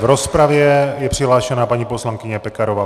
V rozpravě je přihlášena paní poslankyně Pekarová.